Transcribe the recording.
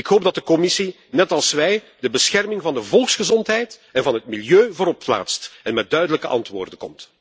Ik hoop dat de Commissie, net als wij, de bescherming van de volksgezondheid en van het milieu voorop plaatst en met duidelijke antwoorden komt.